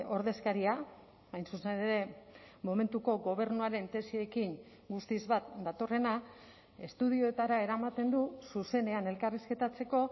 ordezkaria hain zuzen ere momentuko gobernuaren tesiekin guztiz bat datorrena estudioetara eramaten du zuzenean elkarrizketatzeko